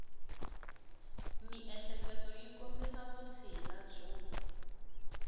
miehleketo yi kombisa vutshila byo